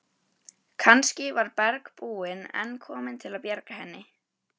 Kannski var bergbúinn enn kominn til að bjarga henni.